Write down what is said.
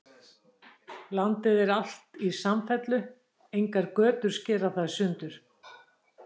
Landið er alt í samfellu, engar götur skera það í sundur.